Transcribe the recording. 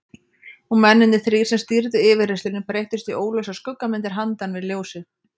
Og mennirnir þrír sem stýrðu yfirheyrslunni breyttust í óljósar skuggamyndir handan við ljósið.